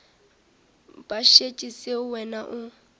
ba šetše seo wena o